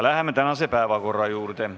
Läheme tänase päevakorra juurde.